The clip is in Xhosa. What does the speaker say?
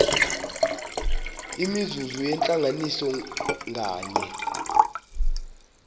imizuzu yentlanganiso nganye